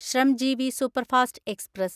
Shramjeevi superfast express